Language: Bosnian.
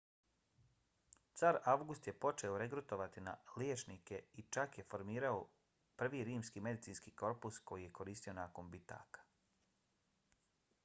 car avgust je počeo regrutovati liječnike i čak je formirao prvi rimski medicinski korpus koji je koristio nakon bitaka